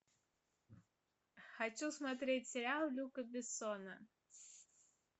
хочу смотреть сериал люка бессона